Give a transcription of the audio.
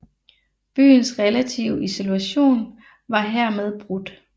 Byens relative isolation var hermed brudt